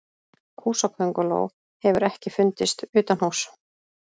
Húsakönguló hefur ekki fundist utanhúss.